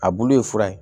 A bulu ye fura ye